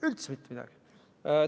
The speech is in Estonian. Üldse mitte midagi!